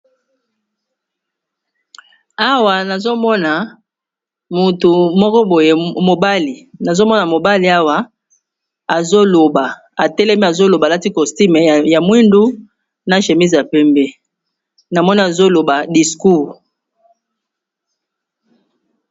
Awa nazomona mutu moko boye mobali, nazomona mobali awa azoloba atelemi azoloba, alati costume ya mwindu na semizi ya pembe, na moni azoloba discoure.